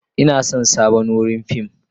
Ina son sabon wurin fim.